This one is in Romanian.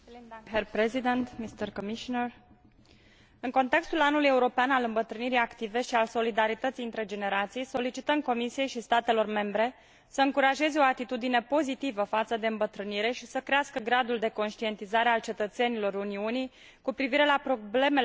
În contextul Anului european al îmbătrânirii active și al solidarității între generații, solicităm Comisiei și statelor membre să încurajeze o atitudine pozitivă față de îmbătrânire și să crească gradul de conștientizare al cetățenilor Uniunii cu privire la problemele legate de îmbătrânire și la efectele acesteia.